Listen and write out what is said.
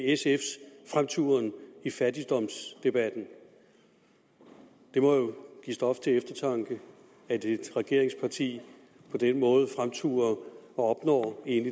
sfs fremturen i fattigdomsdebatten det må jo give stof til eftertanke at et regeringsparti på den måde fremturer og egentlig opnår